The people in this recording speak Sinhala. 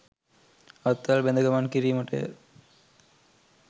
අත්වැල් බැඳ ගමන් කිරීමටය.